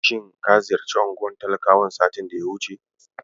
Shin ka ziyarci unguwar talakawan satin da ya wuce?